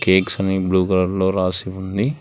Cakes ని blue కలర్లో రాసి ఉంది.